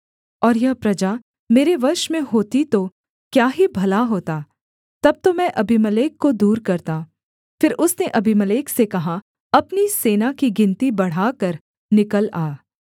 और यह प्रजा मेरे वश में होती तो क्या ही भला होता तब तो मैं अबीमेलेक को दूर करता फिर उसने अबीमेलेक से कहा अपनी सेना की गिनती बढ़ाकर निकल आ